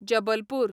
Jabalpur